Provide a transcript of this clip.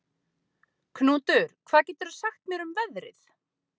Knútur, hvað geturðu sagt mér um veðrið?